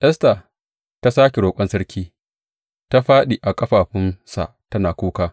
Esta ta sāke roƙon sarki, ta fāɗi a ƙafafunsa tana kuka.